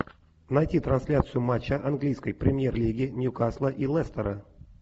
найти трансляцию матча английской премьер лиги ньюкасла и лестера